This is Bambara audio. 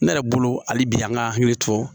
Ne yɛrɛ bolo hali bi an ka hakili to